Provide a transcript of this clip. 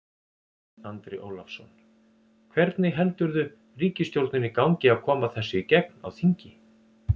Andri Ólafsson: Hvernig heldurðu ríkisstjórninni gangi að koma þessu í gegn á þingi?